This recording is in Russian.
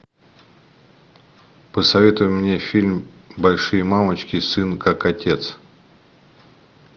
посоветуй мне фильм большие мамочки сын как отец